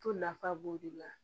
To nafa b'o de la